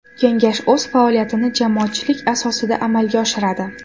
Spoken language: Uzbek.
Kengash o‘z faoliyatini jamoatchilik asosida amalga oshiradi.